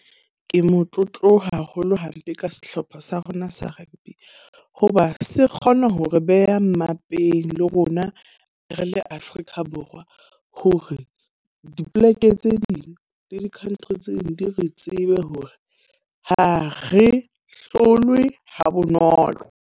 Ke motlotlo haholo hampe ka sehlopha sa rona sa rugby. Ho ba se kgona ho re beha mmapeng le rona re le Afrika Borwa. Ho re dipoleke tse ding di di-country tse ding di re tsebe hore ha re hlolwe ha bonolo.